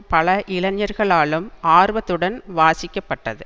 பல இளைஞர்களாலும் ஆர்வத்துடன் வாசிக்கப்பட்டது